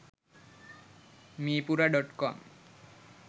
meepura.com